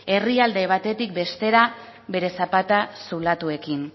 herrialde batetik bestera bere zapata zulatuekin